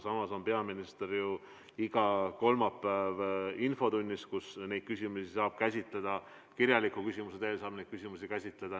Samas on peaminister ju igal kolmapäeval infotunnis, kus neid küsimusi saab käsitleda, ka kirjaliku küsimuse teel saab neid küsimusi käsitleda.